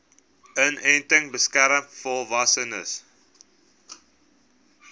inenting beskerm volwassenes